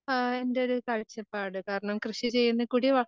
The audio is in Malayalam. ആഹ് എൻറെയൊരു കാഴ്ചപ്പാട്. കാരണം,